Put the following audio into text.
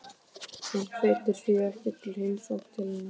Hann hvetur því ekki til heimsókna til hennar.